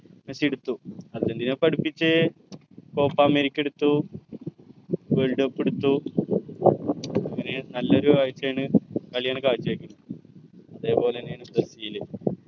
Messi എടുത്തു Argentina ഇപ്പൊ അടുപ്പിച് copa america എടുത്തു world cup എടുത്തു പിന്നെ ന്നല്ലെ ഒരു കാഴ്ച്ചയാണ് കളിയാണ് കാഴ്ച്ച വെച്ചത് അതെ പോലെന്നെയാണ് ബ്രസീൽ